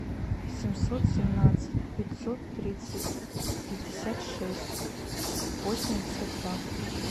семьсот семнадцать пятьсот тридцать пятьдесят шесть восемьдесят два